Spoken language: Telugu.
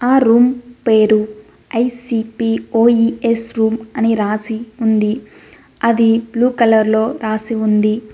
ఆ రూమ్ పేరు ఐ_సి_పి_ఓ ఈ_ఎస్ రూమ్ అని రాసి ఉంది అది బ్లూ కలర్ లో రాసి ఉంది.